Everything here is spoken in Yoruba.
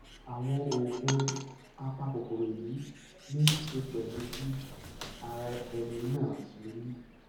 àwọn oògùn apakòkòrò èyí ní í ṣe pẹlú bí ara ẹni náà ṣe rí